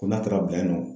Ko n'a taara bi nɔ